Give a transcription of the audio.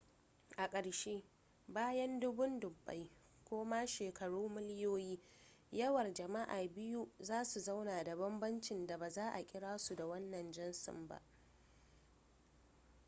a ƙarshe bayan dubun dubbai ko ma shekaru miliyoyi yawar jama'a biyu za su zauna da banbancin da ba za a kira su da wannan jinsin ba